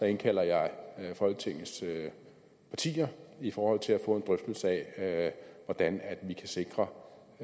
indkalder jeg folketingets partier i forhold til at få en drøftelse af hvordan vi kan sikre